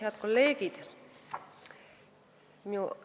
Head kolleegid!